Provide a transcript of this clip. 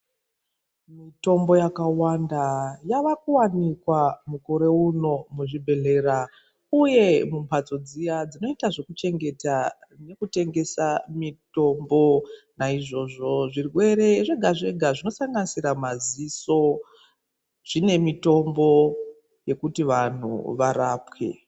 Mitombo yakawanda yavakuwanikwa mukore uno muzvibhedhlera uye mumhatso dziya dzinoita zvekuchengeta nekutengesa mitombo , naizvozvo zvirwere zvega zvega zvinosanganisira maziso zvine mitombo yekuti vanhu varapwe .